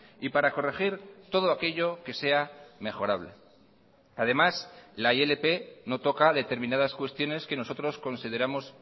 y para corregir todo aquello que sea mejorable además la ilp no toca determinadas cuestiones que nosotros consideramos